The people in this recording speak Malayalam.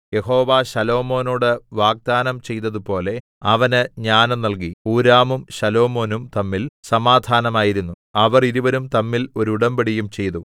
യഹോവ ശലോമോനോട് വാഗ്ദാനം ചെയ്തതുപോലെ അവന് ജ്ഞാനം നൽകി ഹൂരാമും ശലോമോനും തമ്മിൽ സമാധാനമായിരുന്നു അവർ ഇരുവരും തമ്മിൽ ഒരു ഉടമ്പടിയും ചെയ്തു